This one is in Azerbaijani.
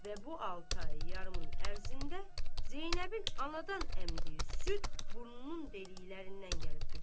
Və bu altı ay yarımın ərzində Zeynəbin anadan əmdiyi süd burnunun dəliklərindən gəlib töküldü.